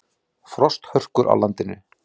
Frosthörkur á landinu